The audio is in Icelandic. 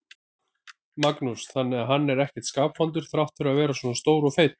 Magnús: Þannig að hann er ekkert skapvondur þrátt fyrir að vera svona stór og feitur?